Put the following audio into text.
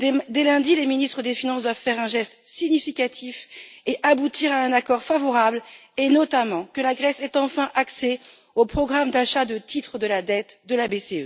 Dès lundi, les ministres des finances doivent faire un geste significatif et aboutir à un accord favorable et, notamment, permettre que la Grèce ait enfin accès au programme d'achat de titres de la dette de la BCE.